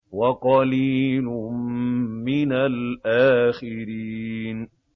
وَقَلِيلٌ مِّنَ الْآخِرِينَ